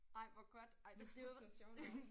Ej hvor godt! Ej det var sådan nogle sjove navne